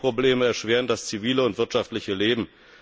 Energieprobleme erschweren das zivile und wirtschaftliche Leben.